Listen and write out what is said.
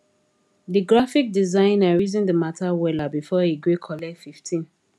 the graphic designer reason the matter weller before e gree collect 15